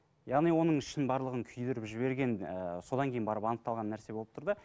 яғни оның ішінің барлығын күйдіріп жіберген ііі содан кейін барып анықталған нәрсе болып тұр да